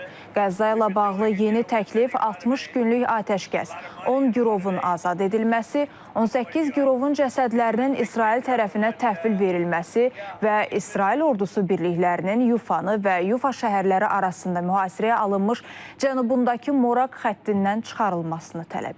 Qəzza ilə bağlı yeni təklif 60 günlük atəşkəs, 10 girovun azad edilməsi, 18 girovun cəsədlərinin İsrail tərəfinə təhvil verilməsi və İsrail ordusu birliklərinin Yufanı və Yufa şəhərləri arasında mühasirəyə alınmış cənubundakı Morak xəttindən çıxarılmasını tələb edir.